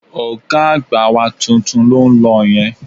Ọ̀gá àgbà wa tuntun ló ń lọ yẹn